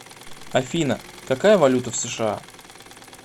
афина какая валюта в сша